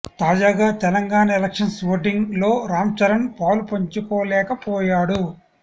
తాజాగా Telangana elections voting లో రాం చరణ్ పాలు పంచుకోలేక పోయాడు